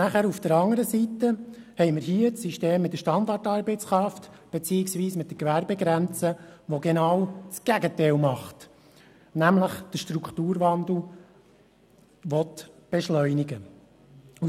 Auf der anderen Seite haben wir hier das System mit der «Standartarbeitskraft» beziehungsweise mit der Gewerbegrenze, das genau das Gegenteil macht, nämlich den Strukturwandel beschleunigen will.